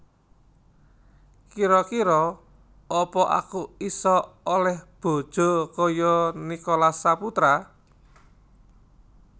Kiro kiro apa aku iso oleh bojo koyok Nicholas Saputra